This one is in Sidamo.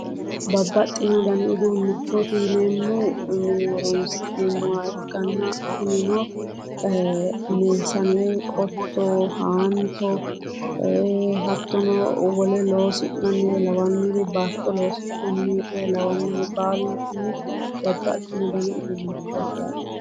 Babaxxino dani uduunnichooti yineemmohu horoonsi'neemmoha ikkanna kunino meesne, qotto, haanto hattono wole loosi'nannire lawannori baalunkunni babbxino uduunnichooti yaate.